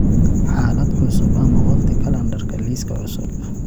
xaalad cusub ama waqti kalandarka liiska cusub